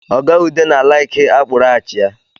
Oga Ude na-alaiki akpụrụ achịa